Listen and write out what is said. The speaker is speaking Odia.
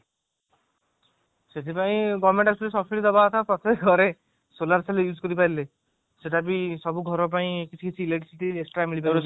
ସେଥି ପାଇଁ government actually subcide ଦବା କଥା ପ୍ରତ୍ଯେକ ଘରେ solar cell use କରି ପାରିଲେ ସେଇଟା ବି ସବୁ ଘର ପାଇଁ କିଛି କିଛି electricity